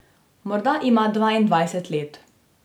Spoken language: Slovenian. Morda ima dvaindvajset let.